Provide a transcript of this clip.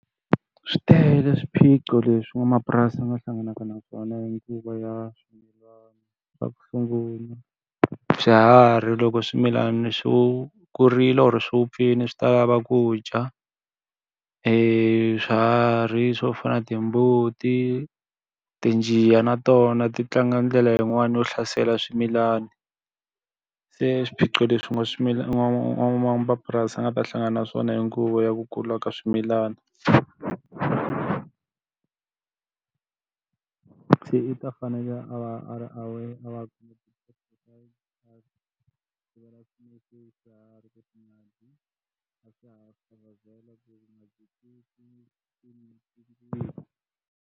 Swi tele swiphiqo leswi n'wamapurasi a nga hlanganaka na swona hi nguva ya swimilana, xa ku sungula swiharhi loko swimilana swi kurile or swi vupfile swi ta lava ku dya. Swiharhi swo fana na timbuti, tinjiya na tona ti tlanga ndlela yin'wani yo hlasela swimilana. Se swiphiqo leswi u nga n'wamapurasi a nga ta hlangana na swona hi nguva ya ku kula ka swimilana. Se i ta fanele a va a ri aware .